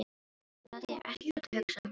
En það þýðir ekkert að hugsa um það núna.